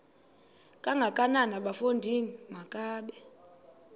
kangakanana bafondini makabe